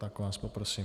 Tak vás poprosím.